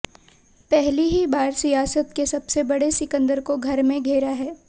पहली ही बार सियासत के सबसे बड़े सिकंदर को घर में घेरा है